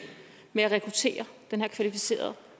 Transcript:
med at rekruttere den her kvalificerede